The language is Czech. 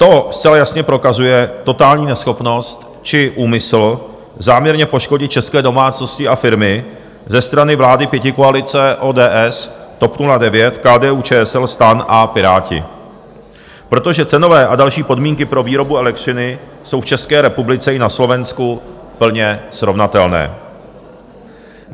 To zcela jasně prokazuje totální neschopnost či úmysl záměrně poškodit české domácnosti a firmy ze strany vlády pětikoalice, ODS, TOP 09, KDU-ČSL STAN a Piráti, protože cenové a další podmínky pro výrobu elektřiny jsou v České republice i na Slovensku plně srovnatelné.